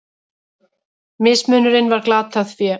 Mismunurinn var glatað fé.